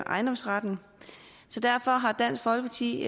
ejendomsretten så derfor har dansk folkeparti i